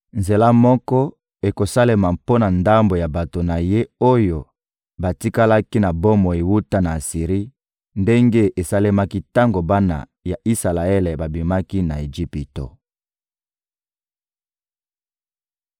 Nzela moko ekosalema mpo na ndambo ya bato na Ye oyo batikalaki na bomoi wuta na Asiri ndenge esalemaki tango bana ya Isalaele babimaki na Ejipito.